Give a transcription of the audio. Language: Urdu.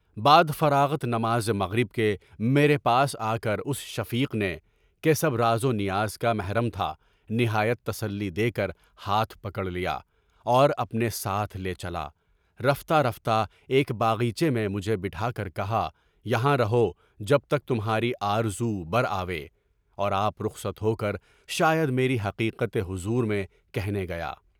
بعد فراغت نماز مغرب کے میرے پاس آ کر اُس شفیق نے (کہ سب راز و نیاز کا محرم تھا) نہایت تسلی دے کر ہاتھ پکڑ لیا اور اپنے ساتھ لے چلا۔ رفتہ رفتہ ایک باغیچے میں مجھے بٹھا کر کہا کہ یہاں رہو جب تک تمہاری آرزو برآوے، اور آپ رخصت ہو کر شاید میری حقیقت حضور میں کہنے گیا۔